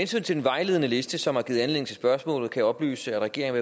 til den vejledende liste som har givet anledning til spørgsmålet kan jeg oplyse at regeringen